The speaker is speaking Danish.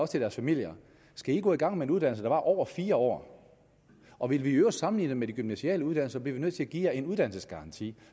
til deres familier skal i gå i gang med en uddannelse der varer over fire år og vil vi i øvrigt sammenligne med de gymnasiale uddannelser bliver vi nødt til at give jer en uddannelsesgaranti